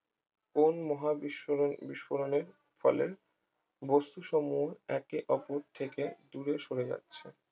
কোন মহাবিস্মরণে বিস্ফোরণের ফলে বস্তু সমূহ একে অপর থেকে দূরে সরে যাচ্ছে